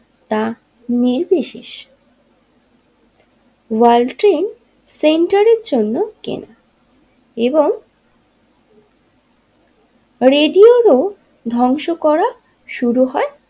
তা নির্বিশেষে World Trade সেন্টারের জন্য এবং রেডি ওরও ধ্বংস করা শুরু হয়।